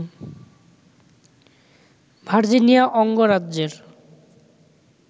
Virginia অঙ্গরাজ্যের